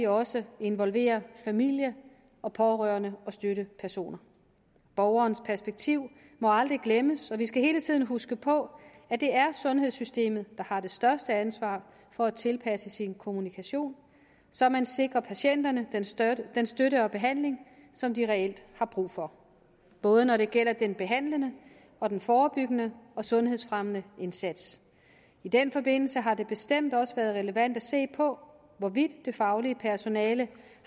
også involverer familie og pårørende og støttepersoner borgerens perspektiv må aldrig glemmes og vi skal hele tiden huske på at det er sundhedssystemet der har det største ansvar for at tilpasse sin kommunikation så man sikrer patienterne den støtte den støtte og behandling som de reelt har brug for både når det gælder den behandlende og den forebyggende og sundhedsfremmende indsats i den forbindelse har det bestemt også været relevant at se på hvorvidt det faglige personale